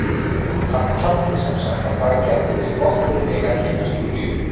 En taldi sem sagt að það gæti verið gott fyrir mig að kynnast Júlíu.